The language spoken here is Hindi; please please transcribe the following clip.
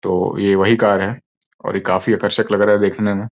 तो ये वही कार है और ये काफी आकर्षक लग रहा है देखने में।